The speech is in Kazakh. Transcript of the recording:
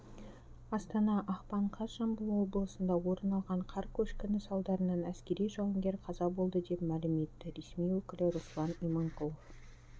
астана ақпан қаз жамбыл облысында орын алған қар көшкіні салдарынан әскери жауынгер қаза болды деп мәлім етті ресми өкілі руслан иманкулов